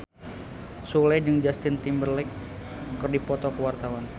Sule jeung Justin Timberlake keur dipoto ku wartawan